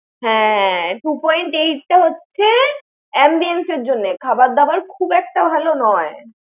হ্যাঁ, two point eight টা হচ্ছে ambience এর জননে। খাবার দাবার খুব একটা ভালো নয়।